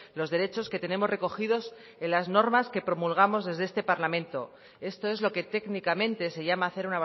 los derechos que tenemos recogidos en las normas que promulgamos desde este parlamento esto es lo que técnicamente se llama hacer